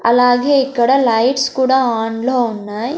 అలాగే ఇక్కడ లైట్స్ కూడా ఆన్లో ఉన్నాయ్.